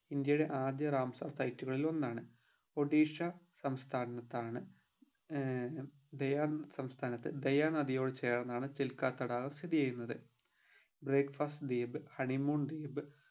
ഇന്ത്യയിലെ ആദ്യ Ramsar site കളിൽ ഒന്നാണ് ഒഡിഷ സംസ്ഥാനത്താണ് ഏർ ദയാൻ സംസ്ഥാനത്ത് ദയാ നദിയോട് ചേർന്നാണ് ചിൽകാ തടാകം സ്ഥിതി ചെയ്യുന്നത് break fast ദ്വീപ് honey moon ദ്വീപ്